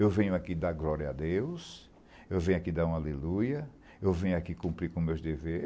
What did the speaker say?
Eu venho aqui dar glória a Deus, eu venho aqui dar uma aleluia, eu venho aqui cumprir com meus